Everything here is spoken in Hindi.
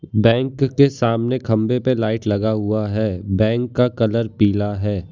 बैंक के सामने खंबे पे लाइट लगा हुआ है बैंक का कलर पीला है।